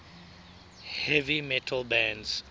heavy metal bands